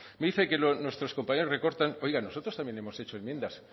me dice que nuestros compañeros recortan oiga nosotros también hemos hecho enmiendas